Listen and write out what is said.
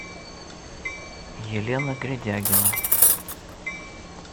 елена гредягина